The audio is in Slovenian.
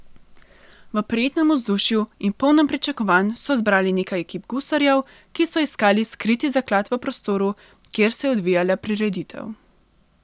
V prijetnem vzdušju in polnem pričakovanj so zbrali nekaj ekip gusarjev, ki so iskale skriti zaklad v prostoru, kjer se je odvijala prireditev.